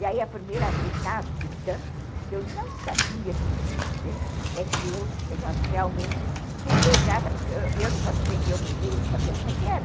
E aí, a primeira vez na vida, que eu não sabia que existia, é que eu realmente fui beijada, porque eu não posso dizer que eu beijei e não sabia como é que era,